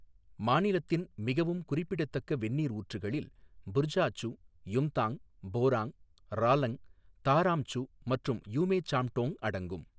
மாநிலத்தின் மிகவும் குறிப்பிடத்தக்க வெந்நீர் ஊற்றுகளில் புர்சாச்சு, யும்தாங், போராங், ராலங், தாராம் சு மற்றும் யுமே சாம்டோங் அடங்கும்.